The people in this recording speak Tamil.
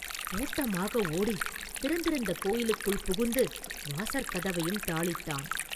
ஓட்டமாக ஓடித் திறந்திருந்த கோயிலுக்குள் புகுந்து வாசற்கதவையும் தாளிட்டான்.